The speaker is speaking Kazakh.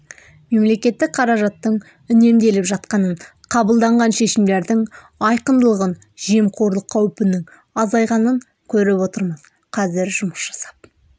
мемлекеттік қаражаттың үнемделіп жатқанын қабылданған шешімдердің айқындылығын жемқорлық қаупінің азайғанын көріп отырмыз қазір жұмыс жасап